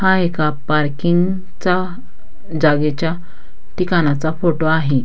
हा एका पार्किंग चा जागेच्या ठिकाणाचा फोटो आहे.